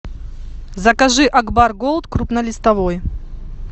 закажи акбар голд крупнолистовой